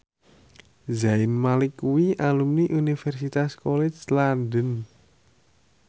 Zayn Malik kuwi alumni Universitas College London